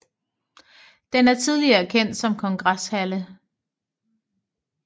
Den er tidligere kendt som Kongresshalle